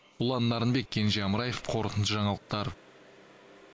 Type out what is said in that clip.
ұлан нарынбек кенже амраев қорытынды жаңалықтар